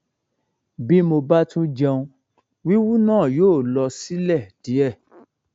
bí mo bá tún jẹun wíwú náà yóò lọ sílẹ díẹ